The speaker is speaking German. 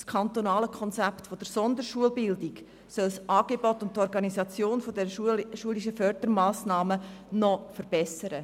Das kantonale strategische «Konzept Sonderschulbildung» soll das Angebot und die Organisation der schulischen Fördermassnahmen noch verbessern.